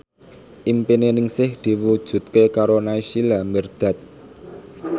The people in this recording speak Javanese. impine Ningsih diwujudke karo Naysila Mirdad